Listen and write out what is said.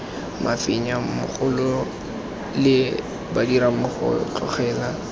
mafenya mogolole re badirammogo tlogela